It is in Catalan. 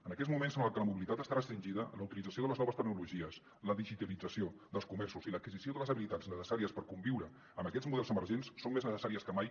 en aquests moments en els que la mobilitat està restringida la utilització de les noves tecnologies la digitalització dels comerços i l’adquisició de les habilitats necessàries per conviure amb aquests models emergents són més necessàries que mai